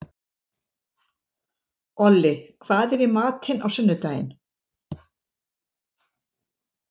Olli, hvað er í matinn á sunnudaginn?